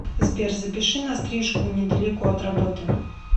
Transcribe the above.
сбер запиши на стрижку недалеко от работы